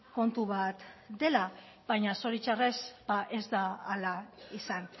kontu bat dela baina zoritxarrez ez da hala izan